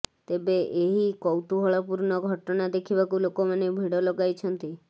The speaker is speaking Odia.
ତେବେ ଏହି କୌତୁହଳପୂର୍ଣ୍ଣ ଘଟଣା ଦେଖିବାକୁ ଲୋକ ମାନେ ଭିଡ଼ ଲଗାଇଛନ୍ତି